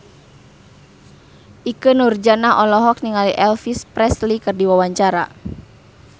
Ikke Nurjanah olohok ningali Elvis Presley keur diwawancara